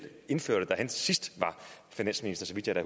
indførte da han sidst var finansminister så vidt jeg da